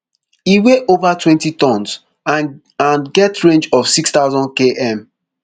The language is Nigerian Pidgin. e weigh ova twenty tonnes and and get range of six thousandkm